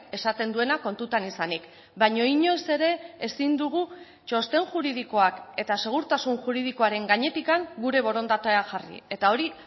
esaten duena kontutan izanik baina inoiz ere ezin dugu txosten juridikoak eta segurtasun juridikoaren gainetik gure borondatea jarri eta hori